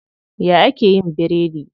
Ya ake yin biredi?